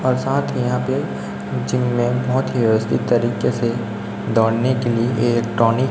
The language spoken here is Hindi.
और साथ ही यहां पे जिम में बहोत ही व्यवस्थित तरीके से दौड़ने के लिए इलेक्ट्रॉनिक --